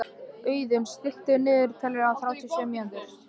Auðunn, stilltu niðurteljara á þrjátíu og sjö mínútur.